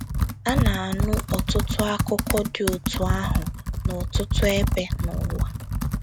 A na - anụ ọtụtụ akụkọ dị otú ahụ n’ọtụtụ ebe n’ụwa.